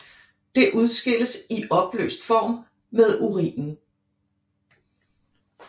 Det udskilles i opløst form med urinen